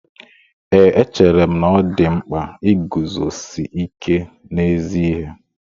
Ee, echere m na ọ dị mkpa iguzosi ike n'ezi ihe